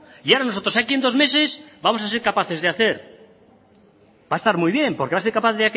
y ahora nosotros aquí en dos meses vamos a ser capaces de hacer va a estar muy bien porque va a ser capaz